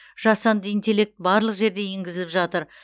жасанды интеллект барлық жерде енгізіліп жатыр